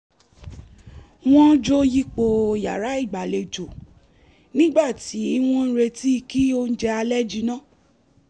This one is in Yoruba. wọ́n jó yípo yàrá igbalejo nígbà tí wọ́n ń retí kí oúnjẹ alẹ́ jinná